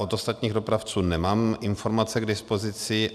Od ostatních dopravců nemám informace k dispozici.